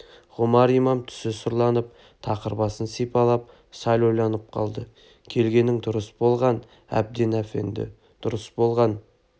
ғұмар-имам түсі сұрланып тақыр басын сипалап сәл ойланып қалды келгенің дұрыс болған әбден әфенді дұрыс болған